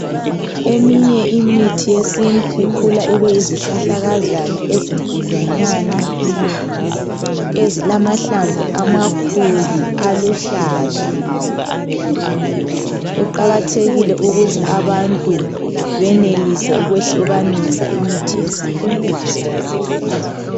Eminye imithi yesintu ikhula ibe yizihlahlakazana ezinkudlwanyana ezilamahlamvu amakhulu aluhlaza. Kuqakathekile ukuthi abantu benelise ukwehlukanisa imithi yesintu.